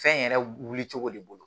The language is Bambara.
Fɛn yɛrɛ wilicogo de bolo